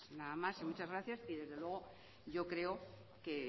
nada más y muchas gracias y desde luego yo creo que